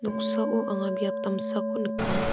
noksao anga biap damsako nika.